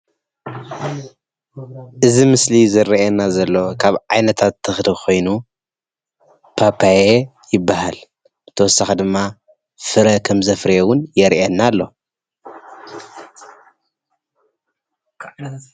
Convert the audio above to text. እዚ ኣብ ምስሊ ዝረአየና ዘሎ ካብ ዓይነታት ተክሊ ኮይኑ ፓፓየ ይባሃል፡፡ ብተወሳኪ ድማ ፍረ ከም ዘፍረየ እውን የርእየና ኣሎ፡፡